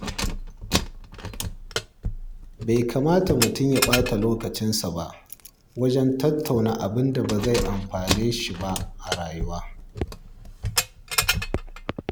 Bai kamata mutum ya ɓata lokacinsa wajen tattauna abin da ba zai amfane shi ba a rayuwa.